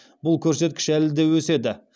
бұл көрсеткіш әлі де өседі